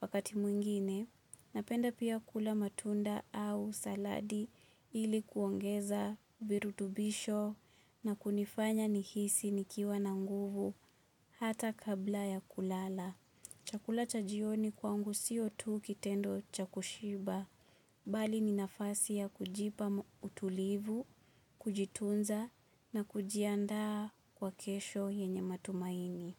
Wakati mwingine, napenda pia kula matunda au saladi ili kuongeza virutubisho na kunifanya nihisi nikiwa na nguvu hata kabla ya kulala. Chakula chajioni kwangu sio tu kitendo chakushiba bali ninafasi ya kujipa utulivu, kujitunza na kujianda kwa kesho yenye matumaini.